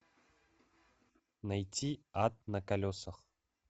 найти ад на колесах